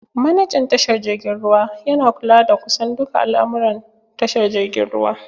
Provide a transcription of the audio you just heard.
Manejan tashar jirgin ruwa yana kula da kusan duka al'almuran tashar jirgin ruwa.